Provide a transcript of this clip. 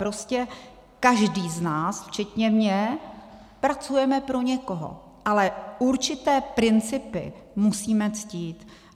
Prostě každý z nás včetně mě pracujeme pro někoho, ale určité principy musíme ctít.